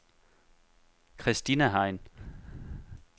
Christina Hein